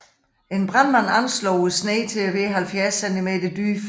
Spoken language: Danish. En brandmand anslog sneen til at være 70 centimenter dyb